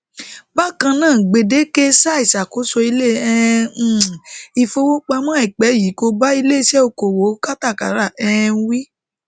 bakan naa gbedeke saa iṣakoso ile um um ifowopamọ aipẹ yii ko ba ileiṣẹ okoowo katakara um wi